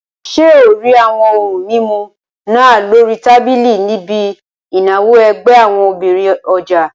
Ṣé o rí àwọn ohun mímu náà lórí tábìlì níbi ìnáwó ẹgbẹ́ àwọn obìnrin ọjà?